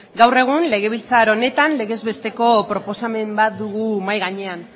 gaur egun legebiltzar honetan legez besteko proposamen bat dugu mahai gainean